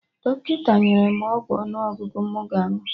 Dọkịta nyere mụ ọgwụ ọnụ ọgụgụ mụ ga-aṅụ